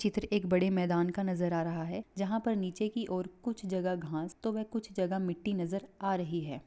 चित्र एक बड़े मैदान का नजर आ रहा है जहाँ पर कुछ जगह घास तो कुछ जगह मिट्टी नजर आ रही है।